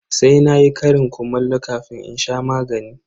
Sai na yi ƙarin kumallo kafin in sha magani.